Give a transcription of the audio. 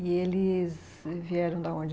E eles vieram da onde?